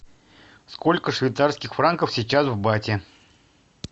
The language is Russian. сколько швейцарских франков сейчас в бате